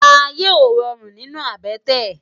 Àyé ó ròrún ninú àbètè